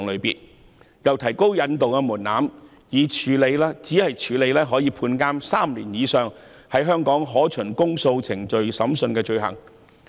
政府又提到引渡的門檻，只處理可判監3年以上、在香港可循公訴程序審訊的罪行。